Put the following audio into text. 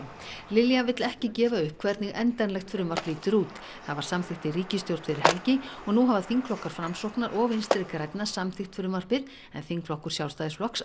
Lilja vill ekki gefa upp hvernig endanlegt frumvarp lítur út það var samþykkt í ríkisstjórn fyrir helgi og nú hafa þingflokkar Framsóknar og Vinstri grænna samþykkt frumvarpið en þingflokkur Sjálfstæðisflokks